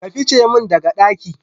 ka fice min daga ɗaki.